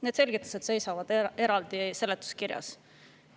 Need selgitused seisavad eraldi seletuskirjas.